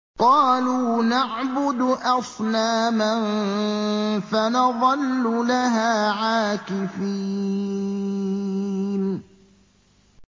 قَالُوا نَعْبُدُ أَصْنَامًا فَنَظَلُّ لَهَا عَاكِفِينَ